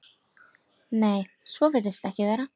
Nei, svo virðist ekki vera.